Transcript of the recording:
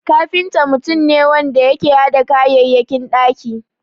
Kafinta mutum ne wanda yake hada kayayyakin ɗaki.